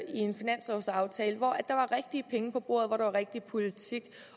en finanslovsaftale hvor der var rigtige penge på bordet hvor der var rigtig politik